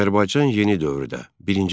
Azərbaycan yeni dövrdə birinci fəsil.